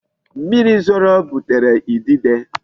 Mmiri zoro butere idide.